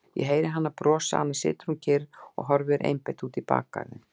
Ég heyri hana brosa, annars situr hún kyrr og horfir einbeitt út í bakgarðinn.